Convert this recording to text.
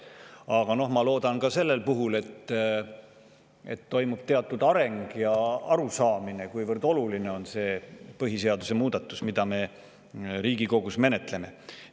Aga noh, ma loodan, et toimub teatud areng ja arusaamine sellest, kuivõrd oluline see põhiseaduse muudatus on, mida me Riigikogus menetleme.